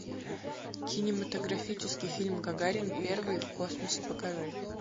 кинематографический фильм гагарин первый в космосе покажи